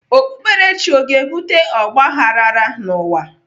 Okpukperechi ọ ga-ebute ọgbaghrara n'ụwa?